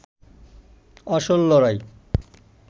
আসল লড়াই